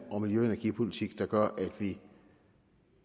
og miljøpolitik der gør at vi